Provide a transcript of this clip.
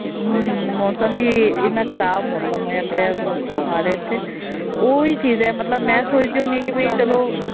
ਹਮ ਮੌਸਮ ਵੀ ਇੰਨਾ ਖ਼ਰਾਬ ਮੌਸਮ ਹੋਇਆ ਪਿਆ ਬੜਾ ਬੁਰਾ ਹਾਲ ਹੈ ਇੱਥੇ ਉਹ ਵੀ ਚੀਜ਼ ਹੈ, ਮਤਲਬ ਮੈਂ ਸੋਚਦੀ ਹੁੰਦੀ ਹਾਂ ਕਿ ਵੀ ਚਲੋ